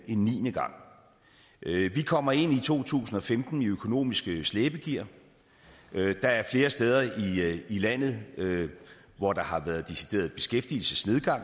en niende gang vi kommer ind i to tusind og femten i økonomisk slæbegear og der er flere steder i landet hvor der har været diskuteret beskæftigelsesnedgang